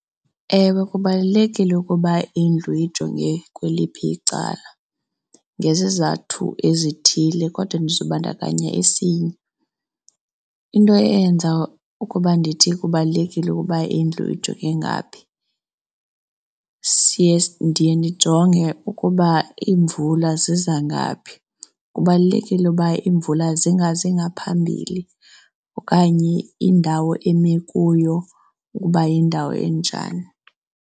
Ewe, kubalulekile ukuba indlu ijonge kweliphi icala ngezizathu ezithile kodwa ndiza kubandakanya esinye. Into eyenza ukuba ndithi kubalulekile ukuba indlu ijonge ngaphi siye, ndiye ndijonge na ukuba imvula ziza ngaphi. Kubalulekile uba imvula zingazi ngaphambili okanye indawo eme kuyo ukuba yindawo enjani.